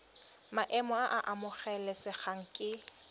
maemo a a amogelesegang ke